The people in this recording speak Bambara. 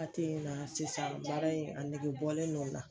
Wagati in na sisan, baara in , a nɛgɛbɔlen don n na.